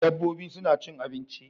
Dabbobi suna cin abinci